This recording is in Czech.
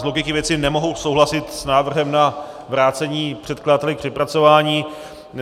Z logiky věci nemohu souhlasit s návrhem na vrácení předkladateli k přepracování.